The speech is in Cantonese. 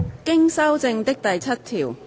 經修正的第7條。